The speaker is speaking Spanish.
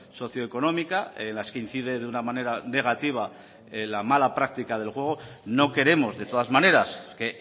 socioeconómica las que incide de una manera negativa la mala práctica del juego no queremos de todas maneras que